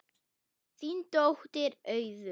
Þín dóttir, Auður.